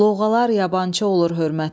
Lovğalar yabançı olur hörmətə.